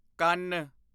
ਕੰਨ